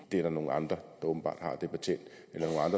er nogle andre